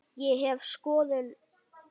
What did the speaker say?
Ég hef skoðun.